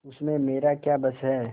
उसमें मेरा क्या बस है